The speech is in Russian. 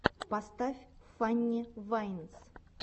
поставь фанни вайнс